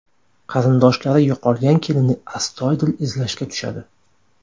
Qarindoshlari yo‘qolgan kelinni astoydil izlashga tushadi.